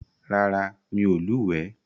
Rárá, mi ò lúwèé.